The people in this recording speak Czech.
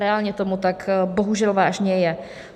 Reálně tomu tak bohužel vážně je.